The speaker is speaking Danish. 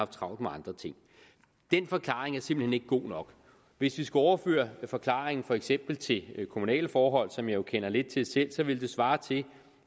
travlt med andre ting den forklaring er simpelt hen ikke god nok hvis vi skulle overføre forklaringen for eksempel til kommunale forhold som jeg jo kender lidt til selv så ville det svare til